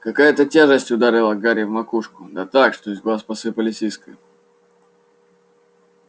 какая-то тяжесть ударила гарри в макушку да так что из глаз посыпались искры